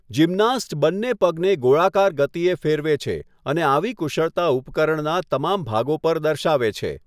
Gymnast બંને પગને ગોળાકાર ગતિએ ફેરવે છે અને આવી કુશળતા ઉપકરણના તમામ ભાગો પર દર્શાવે છે.